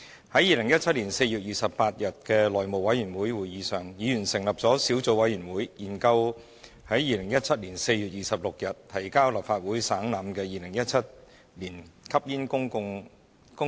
在2017年4月28日的內務委員會會議上，議員成立了小組委員會研究在2017年4月26日提交立法會省覽的《2017年吸煙令》。